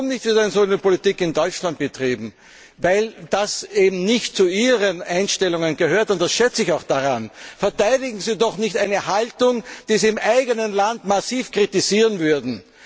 Warum wird eine solche Politik nicht in Deutschland betrieben? Weil das eben nicht zu ihren Einstellungen gehört, und das schätze ich auch daran. Verteidigen Sie doch nicht eine Haltung, die Sie im eigenen Land massiv kritisieren würden!